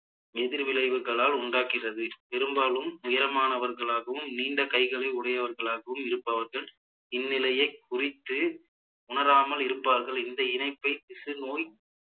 எதிர் விளைவுகளால் உண்டாக்கிறது பெரும்பாலும் உயரமானவர்களாகவும் நீண்ட கைகளை உடையவர்களாகவும் இருப்பவர்கள் இந்நிலையை குறித்து உணராமல் இருப்பார்கள் இந்த இணைப்பை திசுநோய்